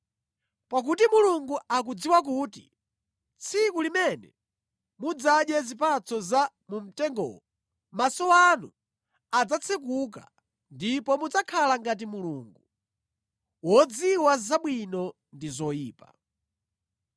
“Pakuti Mulungu akudziwa kuti tsiku limene mudzadye zipatso za mu mtengowo, maso anu adzatsekuka, ndipo mudzakhala ngati Mulungu, wodziwa zabwino ndi zoyipa.”